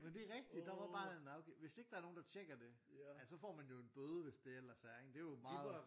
Men det rigtigt der var bare en afgift hvis ikke der er nogen der tjekker det så får man jo en bøde hvis det ellers er ikke det er jo meget